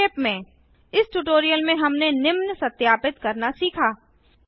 संक्षेप में इस ट्यूटोरियल में हमने निम्न सत्यापित करना सीखा